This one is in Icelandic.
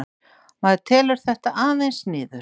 Maður telur þetta aðeins niður